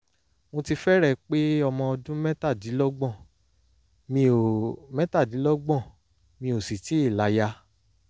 mo ti fẹ́rẹ̀ẹ́ pé ọmọ ọdún mẹ́tàdínlọ́gbọ̀n mi ò mẹ́tàdínlọ́gbọ̀n mi ò sì tíì láya